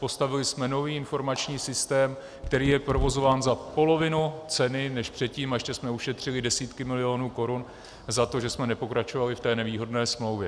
Postavili jsme nový informační systém, který je provozován za polovinu ceny než předtím, a ještě jsme ušetřili desítky milionů korun za to, že jsme nepokračovali v té nevýhodné smlouvě.